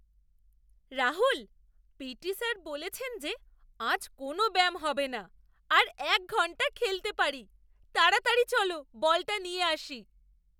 Rahul! P T sir বলেছেন যে আজ কোনও ব্যায়াম হবে না আর এক ঘন্টা খেলতে পারি! তাড়াতাড়ি চলো, বলটা নিয়ে আসি!